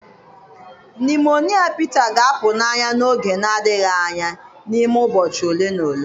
Nụmonịa Pete ga-apụ n'anya n'oge na-adịghị anya n'ime ụbọchị ole na ole